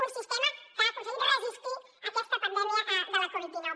un sistema que ha aconseguit resistir aquesta pandèmia de la covid dinou